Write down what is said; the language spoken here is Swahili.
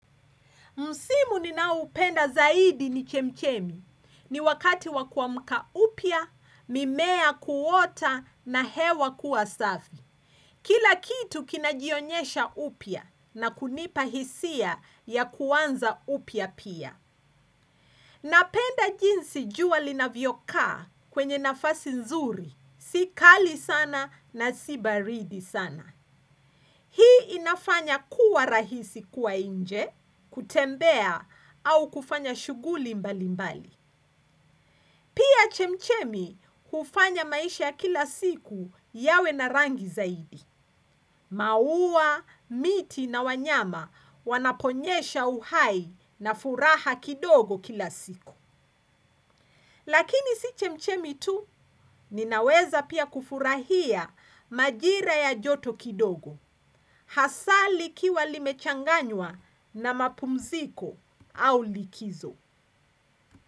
Msimu ninaupenda zaidi ni chemchemi. Ni wakati wa kuamka upya, mimea kuota na hewa kuwa safi. Kila kitu kinajionyesha upya na kunipa hisia ya kuanza upya pia. Napenda jinsi jua linavyokaa kwenye nafasi nzuri, si kali sana na si baridi sana. Hii inafanya kuwa rahisi kuwa nje, kutembea au kufanya shughuli mbalimbali pia chemchemi hufanya maisha ya kila siku yawe na rangi zaidi. Maua, miti na wanyama wanapoonyesha uhai na furaha kidogo kila siku. Lakini si chemchemi tu, ninaweza pia kufurahia majira ya joto kidogo hasaa likiwa limechanganywa na mapumziko au likizo.